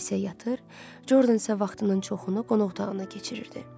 Alisya yatır, Jordan isə vaxtının çoxunu qonaq otağında keçirirdi.